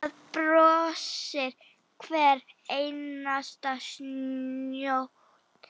Þar brosir hver einasta snót.